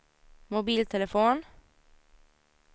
mobiltelefon